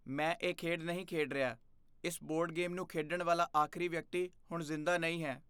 ਮੈਂ ਇਹ ਖੇਡ ਨਹੀਂ ਖੇਡ ਰਿਹਾ। ਇਸ ਬੋਰਡ ਗੇਮ ਨੂੰ ਖੇਡਣ ਵਾਲਾ ਆਖਰੀ ਵਿਅਕਤੀ ਹੁਣ ਜ਼ਿੰਦਾ ਨਹੀਂ ਹੈ।